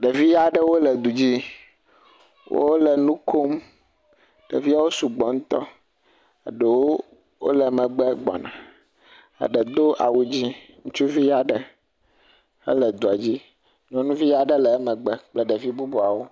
Ɖevi aɖewo le du dzi, wole nu kom, ɖeviawo sɔgbɔ ŋutɔ, eɖewo wole megbe gbɔna, eɖe do awu dzɛ̃, ŋutsuvi aɖe hele dua dzi, nyɔnuvi aɖe le emegbe kple ɖevi bubuawo.